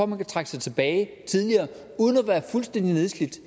man kan trække sig tilbage tidligere uden at være fuldstændig nedslidt